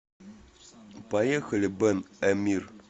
поехали бен эмир